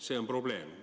See on probleem.